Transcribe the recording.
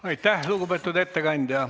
Aitäh, lugupeetud ettekandja.